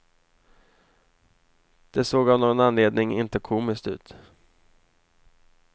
Det såg av någon anledning inte komiskt ut.